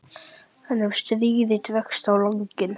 En ef stríðið dregst á langinn?